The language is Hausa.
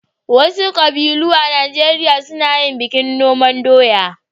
Wasu ƙabilun Najeriya suna yin bikin noman doya.